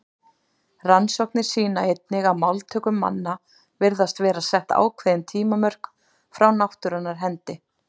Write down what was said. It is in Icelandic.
Rannsóknir sýna einnig að máltöku manna virðast vera sett ákveðin tímamörk frá náttúrunnar hendi.